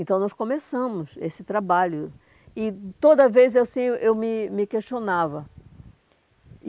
Então, nós começamos esse trabalho e toda vez assim eu me me questionava.